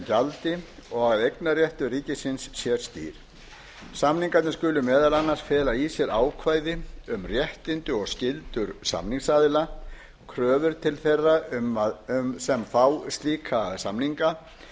gegn gjaldi og að eignarréttur ríkisins sé skýr samningarnir skulu meðal annars fela í sér ákvæði um réttindi og skyldur samningsaðila kröfu til þeirra sem fá slíka samninga